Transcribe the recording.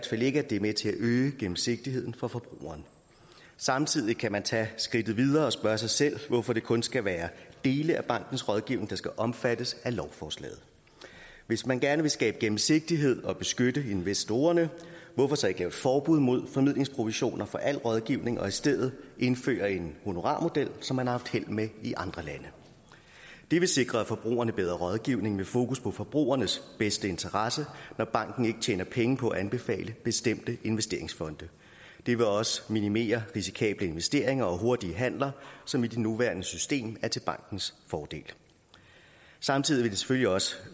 fald ikke at det er med til at øge gennemsigtigheden for forbrugeren samtidig kan man tage skridtet videre og spørge sig selv hvorfor det kun skal være dele af bankens rådgivning der skal omfattes af lovforslaget hvis man gerne vil skabe gennemsigtighed og beskytte investorerne hvorfor så ikke lave et forbud mod formidlingsprovisioner for al rådgivning og i stedet indføre en honorarmodel som man har haft held med i andre lande det vil sikre forbrugerne bedre rådgivning med fokus på forbrugernes bedste interesse når banken ikke tjener penge på at anbefale bestemte investeringsfonde det vil også minimere risikable investeringer og hurtige handeler som i det nuværende system er til bankens fordel samtidig vil det selvfølgelig også